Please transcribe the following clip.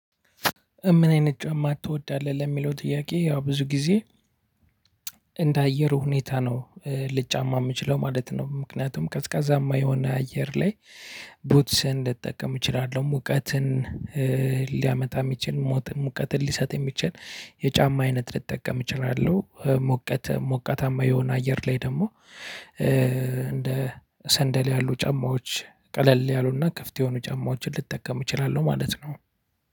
ምን አይነት ጫማ ትወዳለህ? ለሚለው ጥያቄ፣ ያው ብዙ ጊዜ እንደ አየሩ ሁኔታ ነው ልጫማ የምችለው ማለት ነው። ምክንያቱም ቀዝቃዛማ የሆነ አየር ላይ ቡትስን ልጠቀም እችላለሁ። ሙቀትን ሊያመጣ የሚችል ሙቀትን ሊሰጥ የሚችል የጫማ አይነት ልጠቀም እችላለሁ። ሙቀት ሞቀታማ የሆነ አየር ላይ ደግሞ እንደ ሰንደል ያሉ ጫማዎች ቀለል ያሉና ክፍት የሆኑ ጫማዎችን ልጠቀም እችላለሁ ማለት ነው።